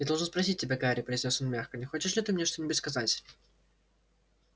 я должен спросить тебя гарри произнёс он мягко не хочешь ли ты мне что-нибудь сказать